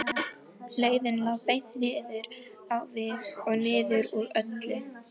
Leiðin lá beint niður á við og niður úr öllu.